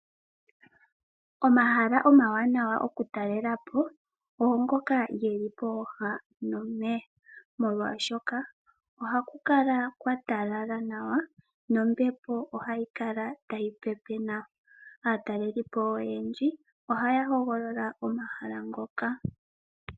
Omahala omawanawa oku talelapo oongoka geli pooha nomeya, molwaashoka ohaku kala kwa talala nawa nombepo ohayi kala tayi pepe nawa . Aatalelipo oyendji ohaya hogolola omahala ngoka.